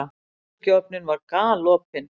Örbylgjuofninn var galopinn.